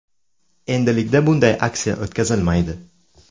Endilikda bunday aksiya o‘tkazilmaydi.